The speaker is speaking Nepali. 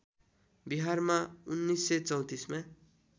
बिहारमा १९३४ मा